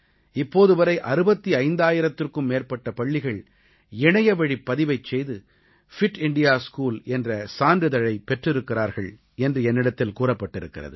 இப்போது வரை 65000த்திற்கும் மேற்பட்ட பள்ளிகள் இணையவழிப் பதிவைச் செய்து ஃபிட் இண்டியா ஸ்கூல் என்ற சான்றிதழைப் பெற்றிருக்கிறார்கள் என்று என்னிடத்தில் கூறப்பட்டிருக்கிறது